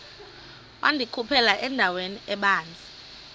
wandikhuphela endaweni ebanzi